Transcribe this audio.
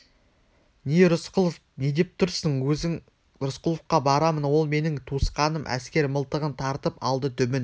не рысқұлов не деп тұрсың өзің рысқұловқа барамын ол менің туысқаным әскер мылтығын тартып алды дүмін